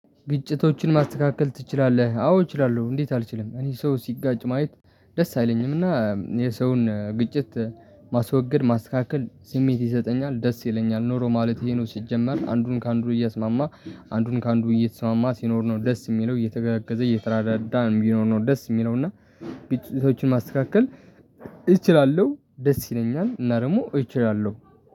ግጭቶችን ማስተካከል ትችላለህ? አዎ እችላለሁ እንዴት አልችልም እኔ ሰው ሲጋጭ ማየት ደስ አይለኝምና የሰውን ግጭት ማስወገድ ማስካከል ስሜት ይሰጠኛል ደስ ይለኛል ኑሮ ማለት ይሄ ነው። ሲጀመር አንዱን ከአንዱ እየስማማህ አንዱን ከአንዱ እየተስማማ ሲኖር ነው ደስ የሚለው እየተገገዘ እየተረዳዳ ቢኖር ነው ደስ የሚለው። እና ቤቶችን ማስተካከል እችላለሁ ደስ ይለኛል። እና ደግሞ እችላለሁ